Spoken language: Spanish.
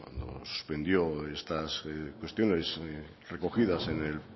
nos vendió estas cuestiones recogidas en el